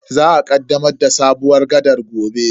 Za a kaddamar da sabuwar gaɗar gobe.